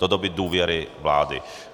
Do doby důvěry vlády.